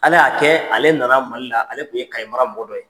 Ala y'a kɛ ale nana Mali la ale tun ye Kayes mara mɔgɔ dɔ ye.